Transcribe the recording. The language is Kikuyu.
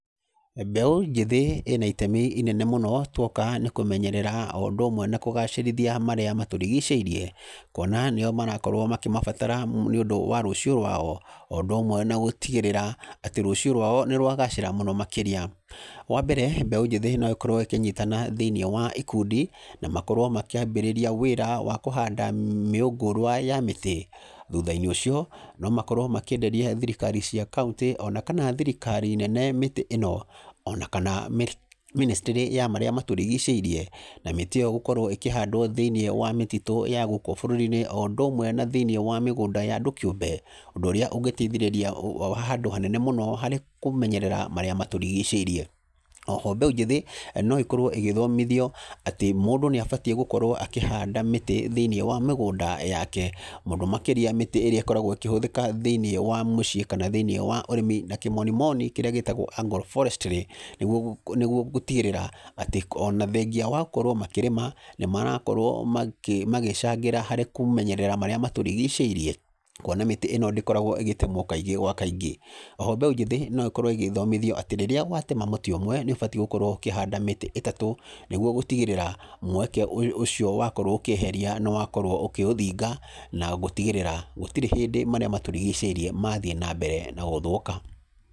Mbeũ njĩthĩ ĩna itemi inene mũno, tuoka nĩ kũmenyerera o ũndũ ũmwe na kũgacĩrithia marĩa matũrigicĩirie, kuona nĩo marakorwo makĩmabatara nĩ ũndũ wa rũcio rwao, o ũndũ ũmwe na gũtigĩrĩra atĩ rũcio rwao nĩ rwagacĩra mũno makĩria, wa mbere, mbeũ njĩthĩ no ĩkorwo ĩkĩnyitana thĩinĩ wa ikundi, na makorwo makĩambĩrĩria wĩra wa kũhanda mĩũngũrwa ya mĩtĩ, thutha-inĩ ũcio, no makorwo makĩenderia thirikari cia kauntĩ, ona kana thirikari nene mĩtĩ ĩno, onakana minisry ya marĩa matũrigicĩirie, na mĩtĩ ĩyo gũkorwo ĩkĩhandwo thĩinĩ wa mĩtitũ ya gũkũ bũrũri-inĩ o ũndũ ũmwe na thĩinĩ wa mĩgũnda ya andũ kĩũmbe, ũndũ ũrĩa ũngĩteithĩrĩria handũ hanene mũno harĩ kũmenyerera marĩa matũrigicĩirie, oho mbeũ njĩthĩ no ĩkorwo ĩgĩthomithio atĩ mũndũ nĩ abatiĩ gũkorwo akĩhanda mĩtĩ thĩinĩ wa mĩgũnda yake, mũno makĩria mĩtĩ ĩrĩa ĩkorwo ĩkĩhũthĩka thĩinĩ wa mĩciĩ, kana thĩinĩ wa ũrĩmi, na kĩmoninimoni kĩrĩa gĩtagwo Angle forestry nĩguo kũ nĩguo gũtigĩrĩra atĩ ona thengia wa gũkorwo makĩrĩma, nĩ marakorwo makĩ makĩcangĩra harĩ kũmenyerera marĩa matũrigicĩrie, kuona mĩtĩ ĩno ndíĩoragwo ĩgĩtemwo kaingĩ gwa kaingĩ, oho mbeũ njĩthĩ nĩyagĩrĩire gũkorwo ĩgĩthomithio rĩrĩa watema mũtĩ ũmwe, nĩ ũbatiĩ gũkorwo ũkĩhandoa mĩtĩ ĩtatũ, nĩguo gũtigĩrĩra mweke ũyũ ũcio wakorwo ũkĩeheria, nĩ wakorwo ũkĩũthinga, na gũtigĩrĩra gũtirĩ hĩndĩ marĩa matũrigicĩirie, mathiĩ nambere na gũthũka.